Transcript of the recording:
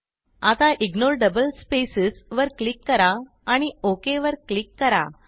आता ignore double spacesवर click करा आणि OKवर क्लिक करा